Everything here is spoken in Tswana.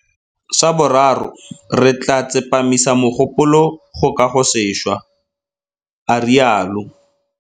Sa boraro, re tla tsepamisa mogopolo go kagosešwa, a rialo.